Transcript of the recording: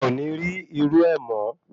A o ni ri iru e mo